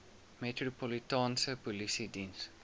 metropolitaanse polisie diens